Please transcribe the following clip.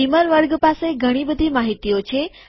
beamer વર્ગ પાસે ઘણી બધી માહિતીઓ છે